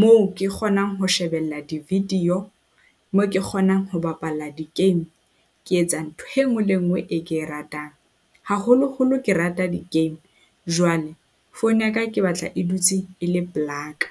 moo ke kgonang ho shebella di-video, moo ke kgonang ho bapala di-game. Ke etsa ntho e nngwe le nngwe e ke ratang, haholoholo ke rata di-game. Jwale phone ya ka ke batla e dutse e le pela ka.